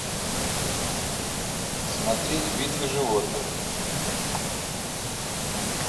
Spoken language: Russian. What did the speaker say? смотреть битвы животных